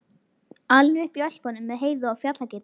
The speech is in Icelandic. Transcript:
Alinn upp í Ölpunum með Heiðu og fjallageitunum?